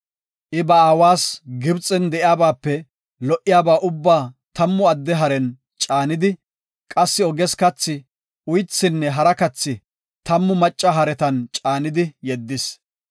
I ba aawas Gibxen de7iyabaape lo77iyaba ubbaa tammu adde haren caanidi, qassi oges kathi, uythinne hara kathi tammu macca haretan caanidi yeddis.